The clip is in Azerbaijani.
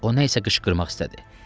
O nə isə qışqırmaq istədi.